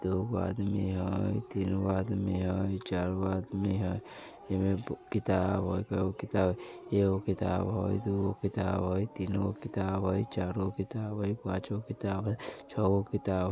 दुगो आदमी हेय तीनो आदमी हेय चार गो आदमी हेय ऐमे बू किताब हेय किताब एओ किताब हेय दुगो किताब हेय तीन गो किताब हेय चार गो किताब हेय पांच गो किताब हेय छ गो किताब ---